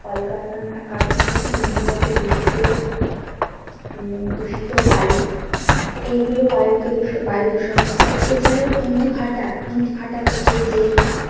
কলকারখানা, কারখানা থেকে নির্গত দূষিত উম দূষিত বায়ু এইগুলো বায়ুকে বায়ু দূষণ ঘটায়। এছাড়াও ইট ভাঁটা, ইট ভাঁটা থেকে যে